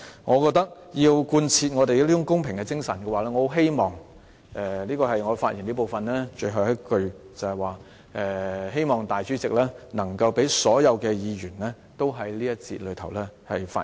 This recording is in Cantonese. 我認為如要貫徹公平的精神，我希望——這是我就辯論安排發言的最後一句——我希望主席能夠讓所有議員在這環節中發言。